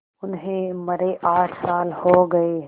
उन्हें मरे आठ साल हो गए